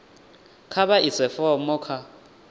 kha vha ise fomo kha